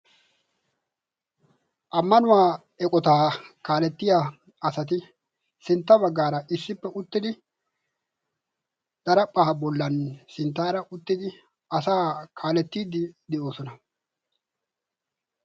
Ammanuwaa eqotaa kaalettiya asati sintta baggaara issippe uttidi daraphphaa bollan sinttaara uttidi asa kaalettiiddi de'oosona.